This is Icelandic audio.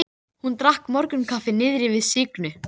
Á leiðinni einsetti hann sér að vera vingjarnlegur.